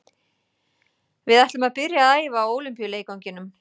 Við ætlum að byrja að æfa á Ólympíuleikvanginum.